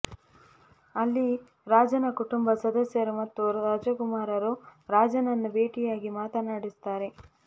ಅಲ್ಲಿ ರಾಜನ ಕುಟುಂಬ ಸದಸ್ಯರು ಮತ್ತು ರಾಜಕುಮಾರರು ರಾಜನನ್ನು ಬೇಟಿಯಾಗಿ ಮಾತನಾಡಿಸುತ್ತಾರೆ